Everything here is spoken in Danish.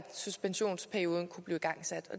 i gang